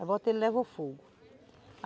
Aí boto ele e levo ao fogo.